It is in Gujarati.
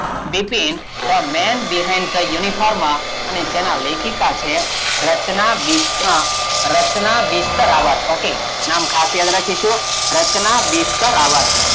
Bipin the men behind the uniform અને જેનાં લેખિકાં છે રચના બિસ્ત અમ રચના બિસ્તરાંવત ok નામ ખાસ યાદ રાખીશું રચના બિસ્તરાંવત,